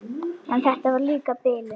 En þetta var líka bilun.